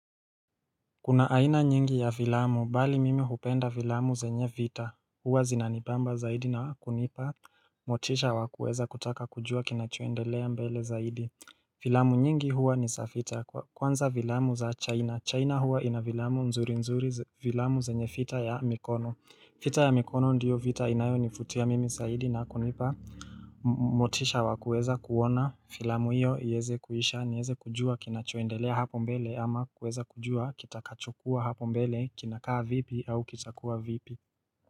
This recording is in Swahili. Kuna aina nyingi ya vilamu, bali mimi hupenda vilamu zenye vita, huwa zinanibamba zaidi na kunipa, motisha wa kueza kutaka kujua kina choendelea mbele zaidi. Filamu nyingi huwa ni za vita, kwanza filamu za chaina, chaina huwa ina filamu mzuri mzuri, filamu zenye vita ya mikono. Vita ya mikono ndiyo vita inayo nivutia mimi zaidi na kunipa motisha wakueza kuona filamu hiyo iweze kuisha niweze kujua kinachoendelea hapo mbele ama kuweza kujua kitakachokua hapo mbele kinakaa vipi au kitakua vipi.